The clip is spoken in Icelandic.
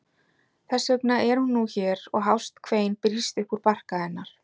Þess vegna er hún nú hér og hást kvein brýst upp úr barka hennar.